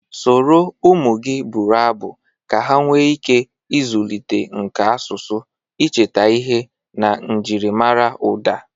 Soro ụmụ gị bụrụ abụ ka ha nwee ike ịzụlite nka asụsụ, icheta ihe na njiri mara ụda